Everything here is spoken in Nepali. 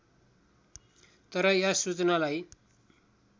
तर यस सूचनालाई